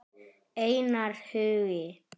Einar Hugi.